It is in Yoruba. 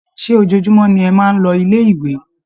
Ṣé ojoojúmọ́ ni ẹ máa ń lọ ilé-ìwé?